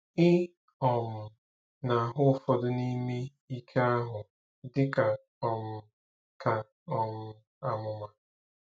Ị um na-ahụ ụfọdụ n'ime ike ahụ dị ka um ka um àmụmà.